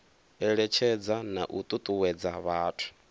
eletshedza na u tutuwedza vhathu